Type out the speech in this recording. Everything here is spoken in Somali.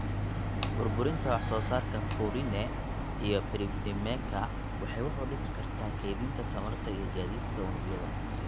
Burburinta wax soo saarka purine iyo pyrimidineka waxay wax u dhimi kartaa kaydinta tamarta iyo gaadiidka unugyada.